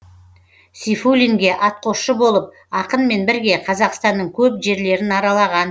сейфуллинге атқосшы болып ақынмен бірге қазақстанның көп жерлерін аралаған